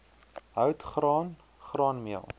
hout graan graanmeel